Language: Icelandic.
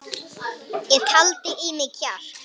Ég taldi í mig kjark.